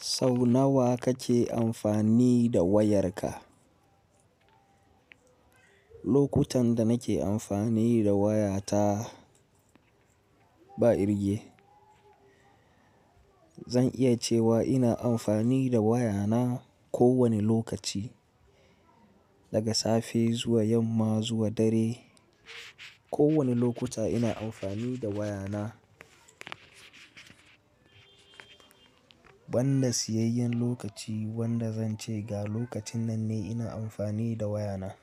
Sau nawa kace amfani da wayarka? Lokutan da nake amfani da wayata ba irge. Zan iya cewa ina amfani da wayana ko wani lokaci, daga safe zuwa yamma zuwa dare. Ko wani lokuta ina amfani da wayana. Banda siyayyan lokaci wanda zan ce ga lokacin nan ne ina amfani da wayana.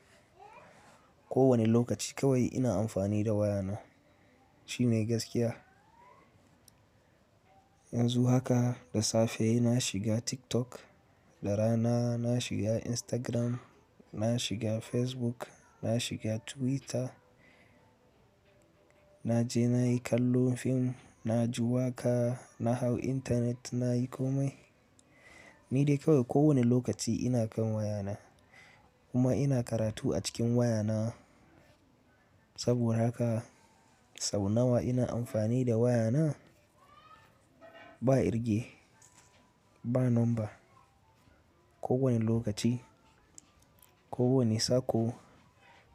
Ko wani lokaci kawai ina amfani da wayana. Shi ne gaskiya. Yanzu haka da safe na shiga TikTok, da rana na shiga Instagram, na shiga Facebook, na shiga Twitter, na je nayi kallon fim, na ji waka, na hau intanet, nayi komai. Ni dai kawai ko wane lokaci ina kan wayana kuma ina karatu a cikin wayana. Saboda haka sau nawa ina amfani da wayana? Ba irge, ba number. Ko wani lokaci, ko wane sako,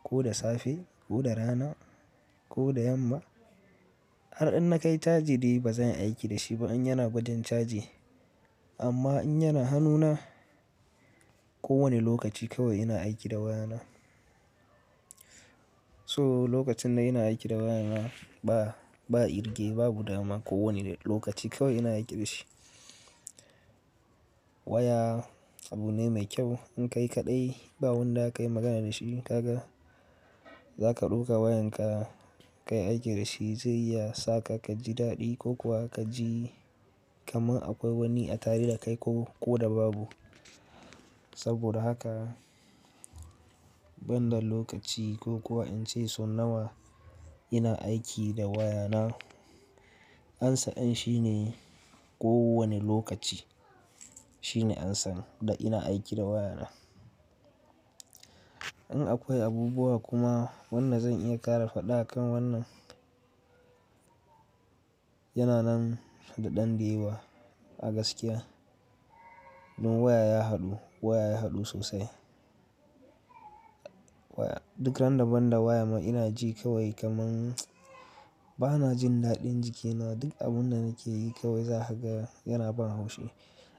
ko da safe, ko da rana, ko da yamma. Har in na kai caji dai ba zan yi aiki da shi ba in yana ba rin caji. Amma in yana hannuna, ko wane lokaci kawai ina aiki da wayana. So lokacin da ina aiki da wayana ba, ba irge, ba budama ko wane lokaci kawai ina aiki da shi. Waya abu ne mai kyau. In ka yi kaɗai ba wanda zaka yi magana da shi, ka ga, za ka ɗauka wayanka ka yi aiki da shi zai iya sa ka kaji daɗi ko kuwa kaji kamar akwai wani a tare da kai ko, ko da babu. Saboda haka banda lokaci ko kuwa in ce so nawa ina aiki da wayana, amsa in shine ko wane lokaci shine amsan da ina aiki da wayana. In akwai abubuwa kuma wannan zan iya ƙara faɗa akan wannan. Yana nan da ɗan diba a gaskiya. Dun waya ya haɗu, waya ya haɗu sosai. Waya duk randabanda waya ma ina ji kawai kamar bana jin daɗin jikina. Duk abun da nake yi kawai za haga yana ban haushi.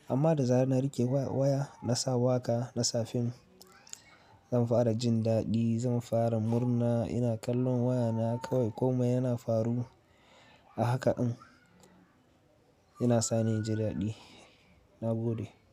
Amma da zan rike wa-waya na sa waka, na sa fim, zan fara jin daɗi, zan fara murna. Ina kallon wayana kawai komai yana faru. A haka ɗin yana sani inji daɗi. Na gode.